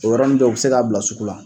O yɔrɔnin bɛɛ u bɛ se k'a bila sugu la.